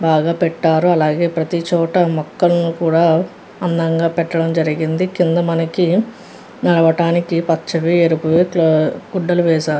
బాగా పెట్టారు అలాగే ప్రతి చోట మొక్కలన్ని కూడా అందంగా పెట్టడం జరిగిందీ కింద మనకి నడవడానికి పచ్చవి ఎరుపువి గుడ్డలు వేశారు.